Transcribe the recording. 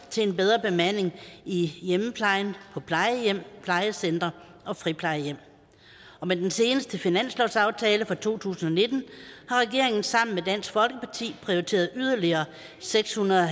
til en bedre bemanding i hjemmeplejen på plejehjem plejecentre og friplejehjem og med den seneste finanslovsaftale for to tusind og nitten har regeringen sammen med dansk folkeparti prioriteret yderligere seks hundrede